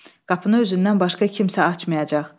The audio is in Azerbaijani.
Qapını özündən başqa kimsə açmayacaq.